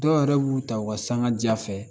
Dɔw yɛrɛ b'u ta u ka sanga ja fɛ